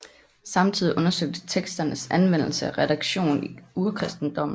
Samtidig undersøgtes teksternes anvendelse og redaktion i urkristendommen